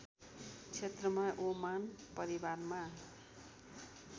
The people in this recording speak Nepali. क्षेत्रमा ओमान परिवारमा